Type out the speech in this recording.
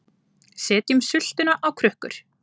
Setjum sultuna á krukkur